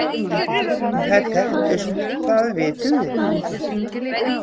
En þær þekktust, það vitum við.